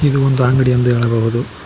ಇದು ಒಂದು ಅಂಗಡಿ ಎಂದು ಹೇಳಬಹುದು.